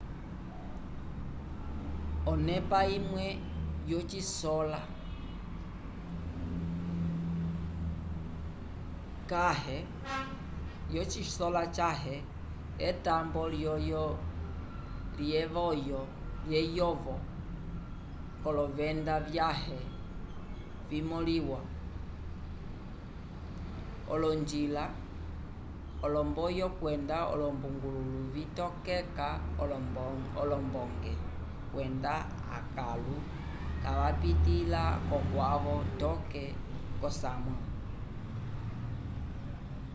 onepa imwe yocisola cãhe ekambo lyeyovo k'olovenda vyãhe vimõliwa olonjila olomboyo kwenda olombaluku vitokeka olombonge kwenda akãlu kavapitĩla kokwavo toke k'osamwa